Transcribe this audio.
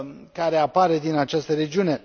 care apare din această regiune.